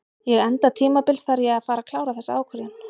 Ég enda tímabils þarf ég að fara að klára þessa ákvörðun.